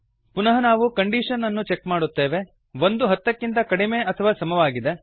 ಪುನಃ ನಾವು ಕಂಡೀಶನ್ ಅನು ಚೆಕ್ ಮಾಡುತ್ತೇವೆ ಒಂದು ಹತ್ತಕ್ಕಿಂತ ಕಡಿಮೆ ಅಥವಾ ಸಮವಾಗಿದೆ